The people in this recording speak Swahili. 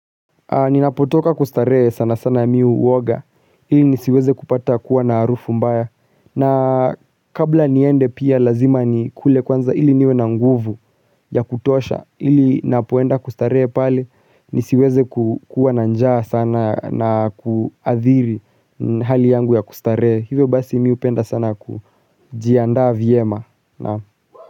Ninapotoka kustarehe sana sana mi uwoga ili nisiweze kupata kuwa na arufu mbaya na kabla niende pia lazima ni kule kwanza ili niwe na nguvu ya kutosha ili napoenda kustarehe pale nisiweze kukuwa na njaa sana na kuadhiri hali yangu ya kustarehe hivyo basi mi upenda sana kujiandaa vyema na.